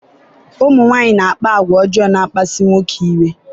ụmụ nwanyị na-akpa àgwà ọjọọ na-akpasu ụmụ nwoke iwe